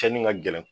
Cɛnni ka gɛlɛn